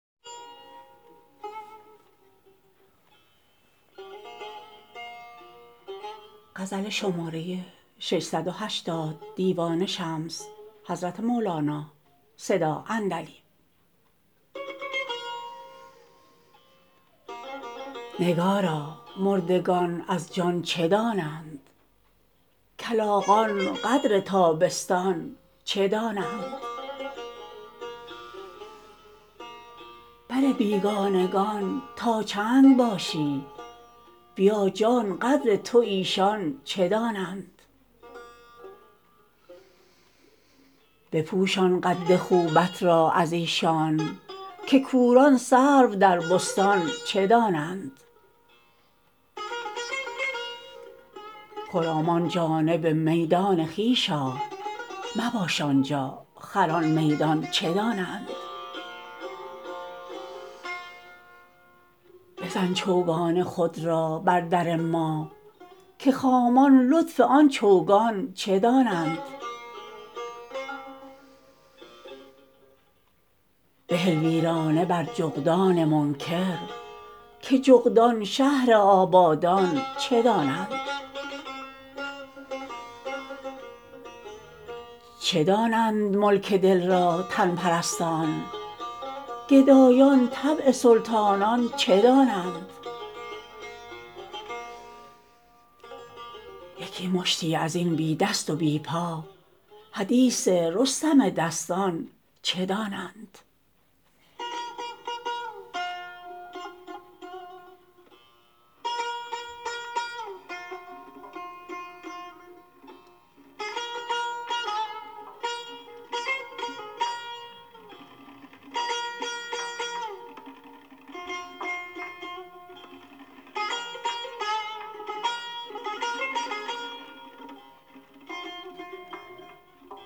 نگارا مردگان از جان چه دانند کلاغان قدر تابستان چه دانند بر بیگانگان تا چند باشی بیا جان قدر تو ایشان چه دانند بپوشان قد خوبت را از ایشان که کوران سرو در بستان چه دانند خرامان جانب میدان خویش آ مباش آن جا خران میدان چه دانند بزن چوگان خود را بر در ما که خامان لطف آن چوگان چه دانند بهل ویرانه بر جغدان منکر که جغدان شهر آبادان چه دانند چه دانند ملک دل را تن پرستان گدایان طبع سلطانان چه دانند یکی مشتی از این بی دست و بی پا حدیث رستم دستان چه دانند